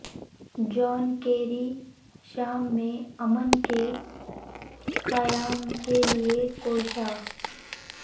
جان Kerry شام میں امن کے قیام کے لیے کوشاں